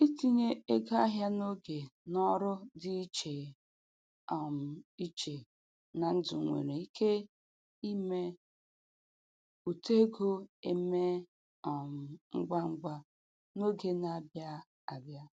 Itinye ego ahịa n'oge n'ọrụ dị iche um iche na ndụ nwere ike ime uto ego emee um ngwa ngwa n'oge na-abịa abịa.